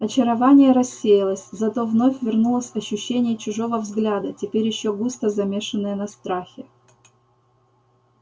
очарование рассеялось зато вновь вернулось ощущение чужого взгляда теперь ещё густо замешенное на страхе